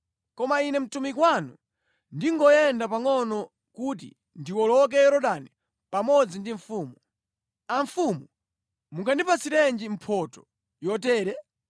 Koma ine mtumiki wanu ndingoyenda pangʼono kuti ndiwoloke Yorodani pamodzi ndi mfumu. Amfumu mungandipatsirenji mphotho yotere?